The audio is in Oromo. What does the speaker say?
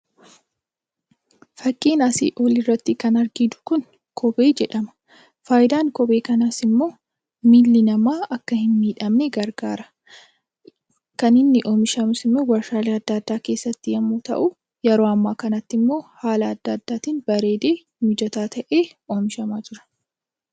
Fakkiin asii oliirratti kan arginu kuni kophee jedhama. Faayidaan kophee kanaas immoo miilli namaa akka hin miidhamnee gargaara. Kan inni oomishamus immoo warshaalee adda addaa keessatti yommuu ta'u, yeroo ammaa kanatti immoo haala addaatiin bareedee mijataa ta'ee oomishamaa jira.